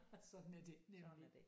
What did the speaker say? Sådan er det nemlig